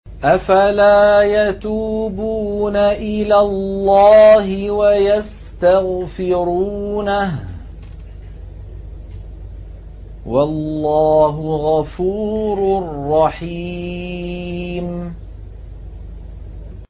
أَفَلَا يَتُوبُونَ إِلَى اللَّهِ وَيَسْتَغْفِرُونَهُ ۚ وَاللَّهُ غَفُورٌ رَّحِيمٌ